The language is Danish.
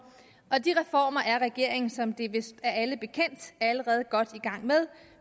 og de reformer er regeringen som det vist er alle bekendt allerede godt i gang med